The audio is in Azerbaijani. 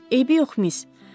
Eybi yox, miss.